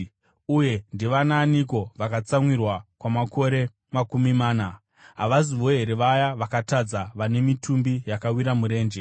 Uye ndivanaaniko vaakatsamwira kwamakore makumi mana? Havazivo here vaya vakatadza, vane mitumbi yakawira murenje?